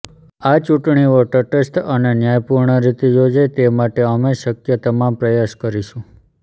આ ચૂંટણીઓ તટસ્થ અને ન્યાયપૂર્ણ રીતે યોજાય તે માટે અમે શક્ય તમામ પ્રયાસ કરીશું